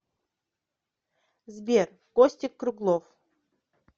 сбер костик круглов